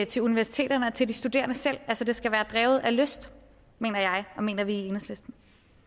til universiteterne og til de studerende selv altså det skal være drevet af lyst mener jeg og mener vi i enhedslisten